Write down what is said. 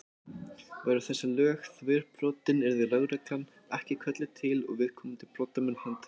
Væru þessi lög þverbrotin yrði lögregla ekki kölluð til og viðkomandi brotamenn handteknir.